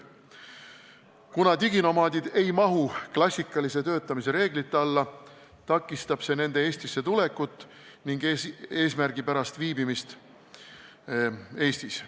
Kuna diginomaadid ei paigutu klassikalise töötamise reeglite alla, on nende Eestisse tulek ning eesmärgipärane Eestis viibimine takistatud.